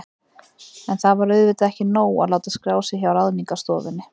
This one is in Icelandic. En það var auðvitað ekki nóg að láta skrá sig hjá Ráðningarstofunni.